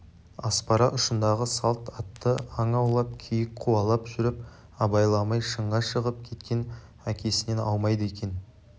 аспара ұшындағы салт атты аң аулап киік қуалап жүріп абайламай шыңға шығып кеткен әкесінен аумайды екен